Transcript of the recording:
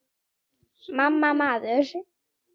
MAMMA, maður!